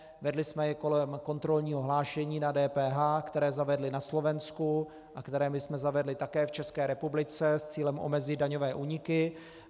Vedli jsme ji kolem kontrolního hlášení na DPH, které zavedli na Slovensku a které my jsme zavedli také v České republice s cílem omezit daňové úniky.